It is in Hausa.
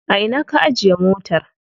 A ina ka ajiye motar?